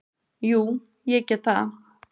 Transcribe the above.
Jú, ég tek það.